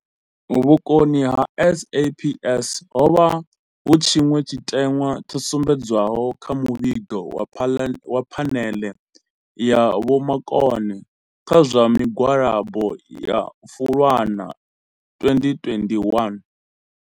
Vhukoni ha SAPS ho vha hu tshiṅwe tshiteṅwa tsho sumbedziswaho kha muvhigo wa Phaneḽe ya Vhomakone kha zwa Migwalabo ya Fulwana 2021.